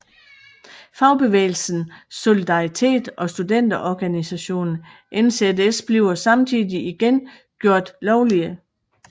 Fagbevægelsen Solidaritet og studenterorganisationen NZS bliver samtidig igen gjort lovlige